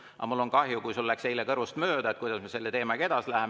Aga mul on kahju, kui sul läks eile kõrvust mööda, kuidas me selle teemaga edasi läheme.